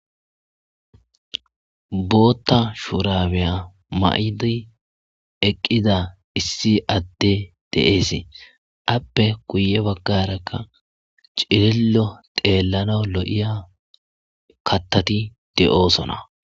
Bootta shuurabeya mayidi eqqida issi adde dees appe kuye baggarakka cilillo xeellana lo'ya kattati de'sona.